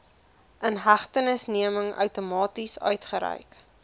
inhegtenisneming outomaties uitgereik